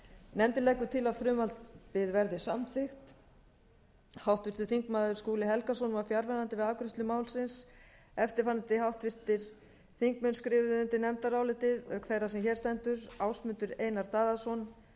nefndin leggur til að frumvarpið verði samþykkt háttvirtur þingmaður skúli helgason var fjarverandi við afgreiðslu málsins eftirfarandi háttvirtir þingmenn skrifuðu undir nefndarálitið auk þeirrar sem hér stendur ásmundur einar daðason